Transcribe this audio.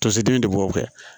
Tosedi de b'o kɛ